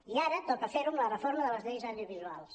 i ara toca fer·ho amb la reforma de les lleis audiovisuals